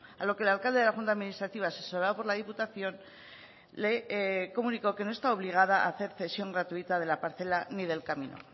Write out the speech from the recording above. a lo que el alcalde de la junta administrativa asesorado por la diputación le comunicó que no está obligada a hacer cesión gratuita de la parcela ni del camino